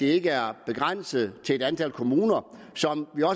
ikke er begrænset til et antal kommuner